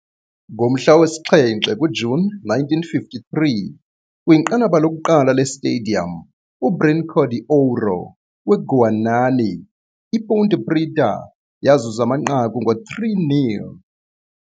Ngomhla wesi-7 kuJuni 1953, kwinqanaba lokuqala le-Stadium uBrnco de Ouro, weGuanani, iPonte Preta yazuza amanqaku ngo-3-0.